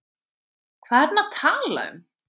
Hvað er hann að tala um?